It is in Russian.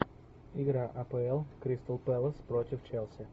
игра апл кристал пэлас против челси